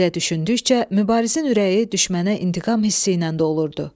Belə düşündükcə Mübarizin ürəyi düşmənə intiqam hissi ilə dolurdu.